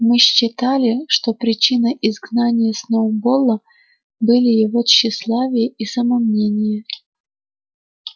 мы считали что причиной изгнания сноуболла были его тщеславие и самомнение